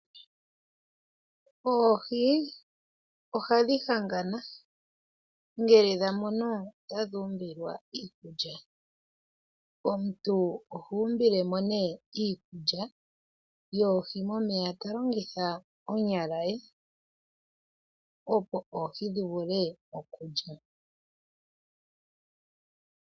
Oohi ohadhi hangana ngele dha mono tadhi umbilwa iikulya. Omuntu oha umbile mo iikulya yoohi momeya ta longitha eke lye, opo oohi dhi vule okulya.